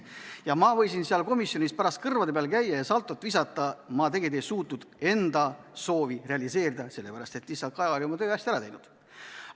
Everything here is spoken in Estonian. Ma võisin komisjonis pärast kõrvade peal käia ja saltot visata, aga ma tegelikult ei suutnud enda soovi realiseerida, sest lihtsalt Kaja oli oma töö hästi ära teinud.